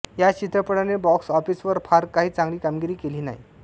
या चित्रपटाने बॉक्स ऑफिसवर फार काही चांगली कामगिरी केली नाही